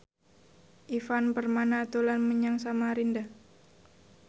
Ivan Permana dolan menyang Samarinda